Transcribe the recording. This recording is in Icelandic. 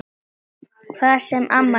Hvað sem amma segir.